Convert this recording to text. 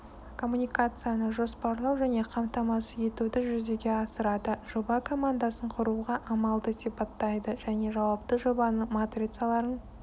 коммуникацияны жоспарлау және қамтамасыз етуді жүзеге асырады жоба командасын құруға амалды сипаттайды және жауапты жобаның матрицаларын